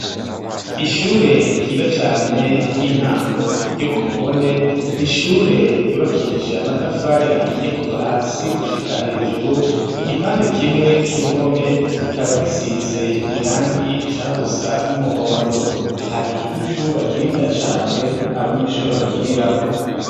Ishure ryiza cane ry'intango yo kumubone nishure ryubakishije amatafari ahiye kuva hasi gushika hejuru igipandi kimwe c'uruhome kikaba gisize irangi rishaha gusa n'umuhondo hari n'ikibuga kinini ya cane abanyeshuri bakinirako.